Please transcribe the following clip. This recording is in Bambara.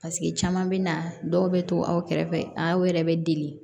caman bɛ na dɔw bɛ to aw kɛrɛfɛ a yɛrɛ bɛ deli